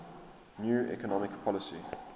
new economic policy